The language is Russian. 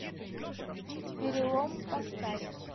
перелом поставь